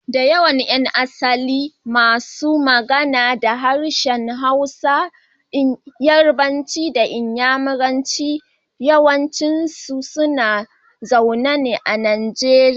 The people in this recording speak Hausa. Da yawan yan asalin masu magana da harshen Hausa, Yarbanci da Inyamuranci yawanci suna zaune a Najeriya.